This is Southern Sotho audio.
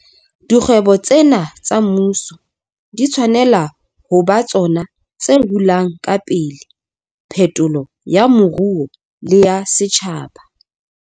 Dikgwebo tsena tsa mmuso di tshwanela ho ba tsona tse hulang ka pele phetolo ya moruo le ya setjhaba.